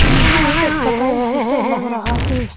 यह एक अस्पताल जैसा लग रहा है।